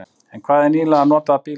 En hvað um nýlega notaða bíla?